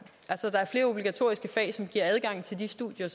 der er flere obligatoriske fag som giver adgang til de studier